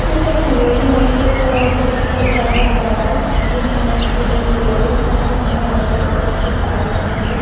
इस तस्वीर में एक गरीब परिवार नजर आ रहा है जिसमें तीन लेडिस है जिन्होंने अलग अलग कलर की साड़ी पहनी हुई है।